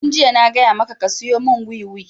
Tun jiya na gaya maka ka siyo mun wiwi!